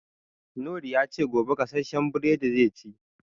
Noor ya ce, gobe gasashen buredi zai ci.